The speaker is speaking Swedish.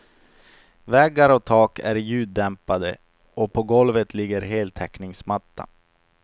Väggar och tak är ljuddämpade och på golvet ligger heltäckningsmatta.